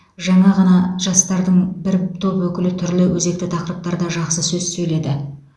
жаңа ғана жастардың бір топ өкілі түрлі өзекті тақырыптарда жақсы сөз сөйледі